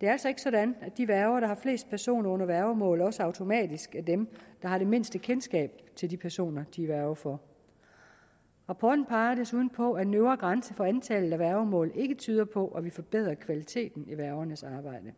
det er altså ikke sådan at de værger der har flest personer under værgemål også automatisk er dem der har det mindste kendskab til de personer de er værge for rapporten peger desuden på at en øvre grænse for antallet af værgemål ikke tyder på at vi forbedrer kvaliteten i værgernes arbejde